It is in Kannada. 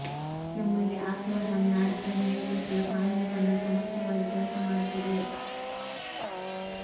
ನಮ್ಮಲ್ಲಿ ಆತ್ಮಾರಾಂ ನಾಡಕರ್ಣಿ ನೇತೃತ್ವದ ಕಾನೂನು ತಂಡ ಸಮರ್ಥವಾಗಿ ಕೆಲಸ ಮಾಡುತ್ತಿದೆ